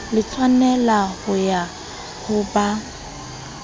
le tshwaneleho ya ho ba